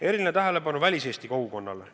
Eriline tähelepanu on väliseesti kogukonnale.